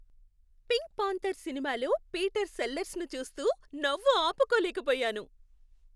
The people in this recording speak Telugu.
పింక్ పాంథర్ సినిమాలో పీటర్ సెల్లర్స్ను చూస్తూ నవ్వు ఆపుకోలేకపోయాను.